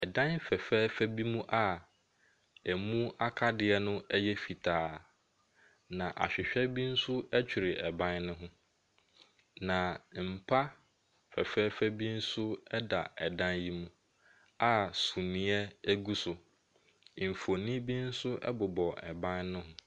Dan fɛfɛɛfɛ bi mu a ɛmu akadeɛ no yɛ fitaa. Na ahwehwɛ bi nso twere ban ne ho. Na mpa fɛfɛɛfɛ bi nso da dan yi mu a suneɛ gu so. Mfonin bi nso bobɔ ban ne ho.